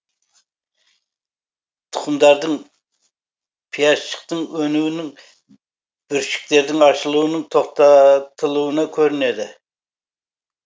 тұқымдардың пиязшықтың өнуінің бүршіктердің ашылуының тоқта тылуында көрінеді